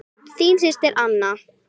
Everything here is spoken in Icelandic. Þín systir, Anna.